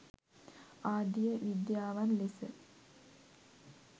ආදිය විද්‍යාවන් ලෙස